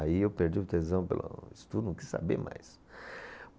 Aí eu perdi o tesão pelo estudo, não quis saber mais.